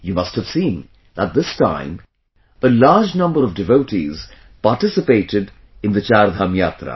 You must have seen that this time a large number of devotees participated in the Chardham Yatra